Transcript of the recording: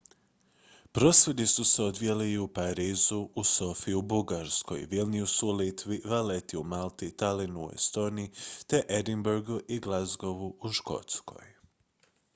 prosvjedi su se odvijali i u parizu u sofiji u bugarskoj vilniusu u litvi valletti u malti tallinnu u estoniji te edinburghu i glasgowu u škotskoj